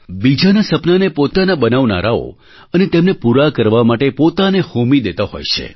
બીજાનાં સપનાંને પોતાના બનાવનારાઓ અને તેમને પૂરાં કરવા માટે પોતાને હોમી દેતા હોય છે